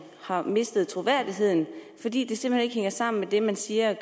har mistet troværdigheden fordi tingene simpelt hen ikke hænger sammen det man siger